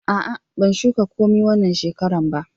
A'a, ban shuka komi wanna shekaran ba.